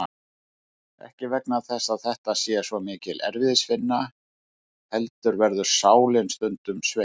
Ekki vegna þess að þetta sé svo mikil erfiðisvinna heldur verður sálin stundum sveitt.